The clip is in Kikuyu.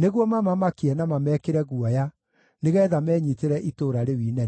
nĩguo mamamakie na mamekĩre guoya nĩgeetha menyiitĩre itũũra rĩu inene.